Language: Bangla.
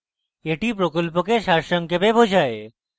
এটি প্রকল্পকে সারসংক্ষেপে বোঝায়